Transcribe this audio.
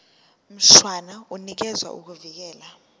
mshwana unikeza ukuvikelwa